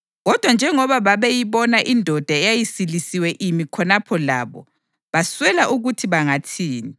Kodwa njengoba babeyibona indoda eyayisilisiwe imi khonapho labo, baswela ukuthi bangathini.